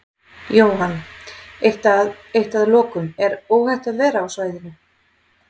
Jóhann: Eitt að, eitt að lokum, er óhætt að vera á svæðinu?